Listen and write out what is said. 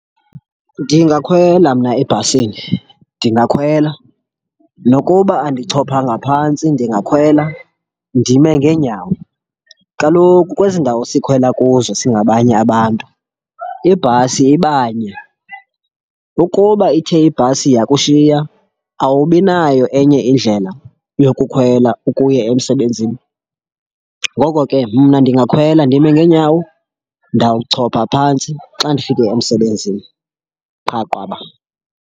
Ndingakhwela mna ebhasini, ndingakhwela nokuba andichophanga phantsi, ndingakhwela ndime ngeenyawo. Kaloku kwezi ndawo sikhwela kuzo singabanye abantu ibhasi iba nye. Ukuba ithe ibhasi yakushiya, awubi nayo enye indlela yokukhwela ukuya emsebenzini. Ngoko ke mna ndingakhwela ndime ngeenyawo. Ndawuchopha phantsi xa ndifike emsebenzini qha qwaba.